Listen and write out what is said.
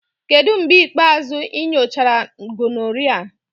Kedu mgbe ikpeazụ ị nyochara gonorrhea?